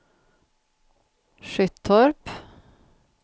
Skyttorp